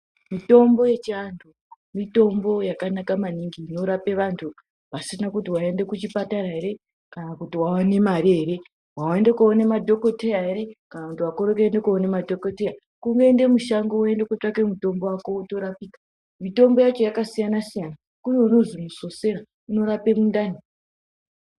Mitombo yechiantu mitombo yakanaka maningi inorapa vantu pasina kuti waenda kuchipatara here kana kuti waone mare here ,waende kuona madhokoteya here kana kuti wakorera kuona madhokoteya here kutongoende mushango woende , woende kotsvage mutombo wako wotorapika .mitombo yacho yakasiyana siyana kune unozi musosera unorapa mundani.